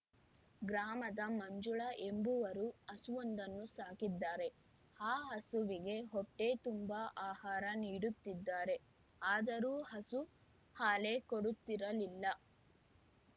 ಗ್ರಾಮದ ಮಂಜುಳಾ ಎಂಬುವರು ಹಸುವೊಂದನ್ನು ಸಾಕಿದ್ದಾರೆ ಆ ಹಸುವಿಗೆ ಹೊಟ್ಟೆತುಂಬ ಆಹಾರ ನೀಡುತ್ತಿದ್ದಾರೆ ಆದರೂ ಹಸು ಹಾಲೇ ಕೊಡುತ್ತಿರಲಿಲ್ಲ